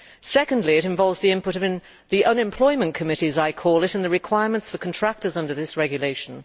Secondly, it involves the input of the unemployment committee', as I call it, and the requirements for contractors under this regulation.